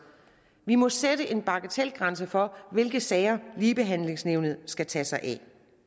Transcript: vi må sætte en bagatelgrænse for hvilke sager ligebehandlingsnævnet skal tage sig af